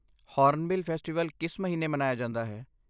Hornbill festival ਕਿਸ ਮਹੀਨੇ ਮਨਾਇਆ ਜਾਂਦਾ ਹੈ?